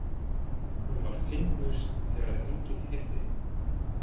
Hún var fyndnust þegar enginn heyrði.